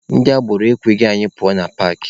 Ndị agboro ekweghị anyị pụọ na paakị.